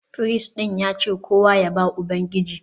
Firist ɗin ya ce kowa ya ba Ubangiji